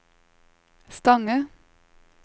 Stange